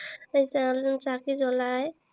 চাকি জ্বলায়।